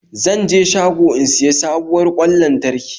Zan je shago in siya sabuwar kwan lantarki